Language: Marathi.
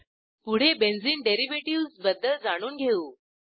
पुढे बेंझिन डेरिव्हेटिव्हज बद्दल जाणून घेऊ